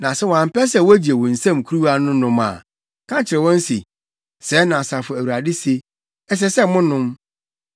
Na sɛ wɔampɛ sɛ wogye wo nsam kuruwa no nom a, ka kyerɛ wɔn se, ‘Sɛɛ na Asafo Awurade se: Ɛsɛ sɛ monom!